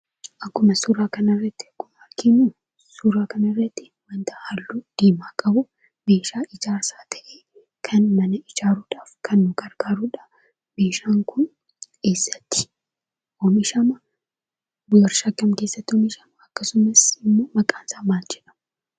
Akkuma suuraa kana irratti arginu, suuraa kana irratti, waanta halluu diimaa qabu ,meeshaa ijaarsaa ta'e, kan mana ijaaruudhaaf nu gargaarudha. Meeshaan Kun eessatti oomishama, waarshaa kam keessatti oomishama? akkasumas immoo maqaan isaa maal jedhama?